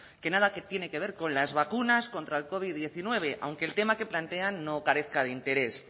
que nada tiene que ver con las vacunas contra el covid diecinueve aunque el tema que plantean no carezca de interés